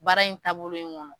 Baara in taabolo in kɔnɔ.